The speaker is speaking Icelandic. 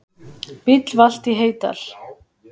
Bíll valt í Heydal